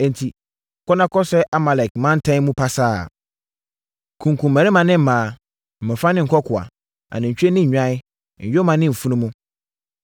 Enti, kɔ na kɔsɛe Amalek mantam no pasaa. Kunkum mmarima ne mmaa, mmɔfra ne nkɔkoaa, anantwie ne nnwan, nyoma ne mfunumu.’ ”